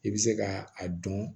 I bɛ se ka a dɔn